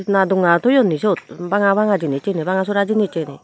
na donga toyoni siyot banga banga jinis siyeni banga sora jinis eni.